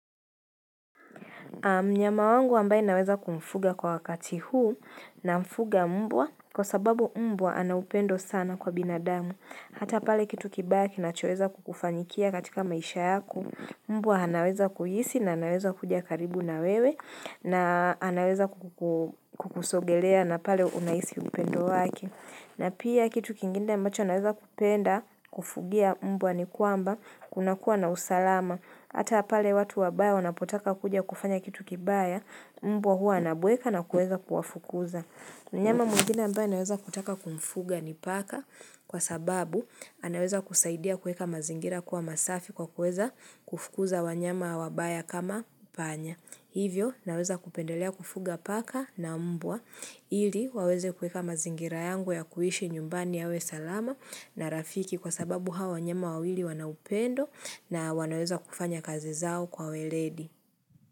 Mnyama wangu ambaye naweza kumfuga kwa wakati huu namfuga mbwa kwa sababu mbwa ana upendo sana kwa binadamu. Hata pale kitu kibaya kinachoweza kukufanyikia katika maisha yako. Mbwa anaweza kuhisi na anaweza kuja karibu na wewe na anaweza kukusogelea na pale unahisi upendo wake. Na pia kitu kingine ambacho anaweza kupenda kufugia mbwa ni kwamba kunakua na usalama. Hata pale watu wabaya wanapotaka kuja kufanya kitu kibaya, mbwa hua anabweka na kuweza kuwafukuza. Mnyama mwingine ambaye naweza kutaka kumfuga ni paka kwa sababu, anaweza kusaidia kuweka mazingira kuwa masafi kwa kuweza kufukuza wanyama wabaya kama panya. Hivyo, naweza kupendelea kufuga paka na mbwa. Ili, waweze kuweka mazingira yangu ya kuishi nyumbani yawe salama na rafiki kwa sababu hawa wanyama wawili wana upendo na wanaweza kufanya kazi zao kwa weledi.